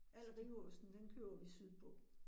Al riveosten, den køber vi sydpå